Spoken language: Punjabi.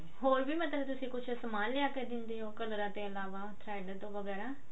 ਹੋਰ ਵੀ ਮਤਲਬ ਤੁਸੀਂ ਕੁਛ ਸਮਾਨ ਲਿਆ ਕਿ ਦਿੰਦੇ ਹੋ ਕਲਰਾਂ ਤੋਂ ਇਲਾਵਾ thread ਤੋਂ ਵਗੇਰਾ